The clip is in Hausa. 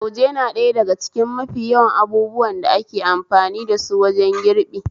Lauje na daya daga cikin mafi yawan abubuwan da ake amfani dasu wajen girbi